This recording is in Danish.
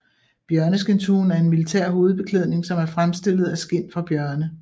Bjørneskindshuen er en militær hovedbeklædning som er fremstillet af skind fra bjørne